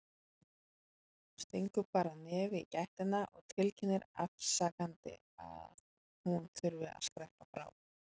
Stingur bara nefi í gættina og tilkynnir afsakandi að hún þurfi að skreppa frá.